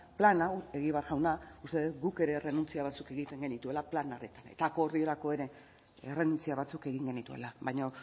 plan hau egibar jauna uste dut guk ere errenuntzia batzuk egiten genituela plan horretan eta akordiorako ere errenuntzia batzuk egin genituela baina